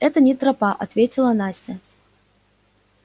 это не тропа ответила настя